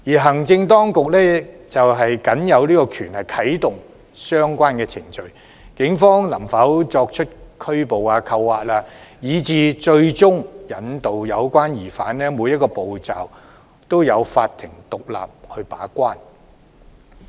行政當局僅有權啟動相關程序，對於警方能否拘捕、扣押，以至最終引渡有關疑犯，每一個步驟均有法庭獨立把關。